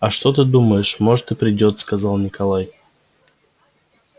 а что ты думаешь может и приедёт сказал николай